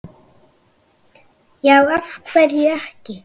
já af hverju ekki